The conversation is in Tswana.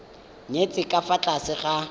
nyetswe ka fa tlase ga